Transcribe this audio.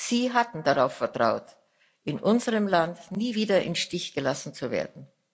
Sie hatten darauf vertraut, in unserem Land nie wieder im Stich gelassen zu werden.